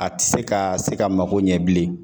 A ti se ka se ka mago ɲɛ bilen